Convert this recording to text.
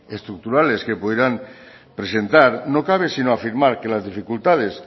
estructurales que pudieran presentar no cabe sino afirmar que las dificultades